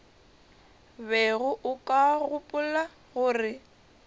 bego o ka gopola gore